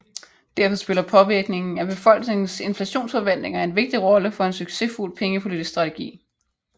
Derfor spiller påvirkningen af befolkningens inflationsforventninger en vigtig rolle for en succesfuld pengepolitisk strategi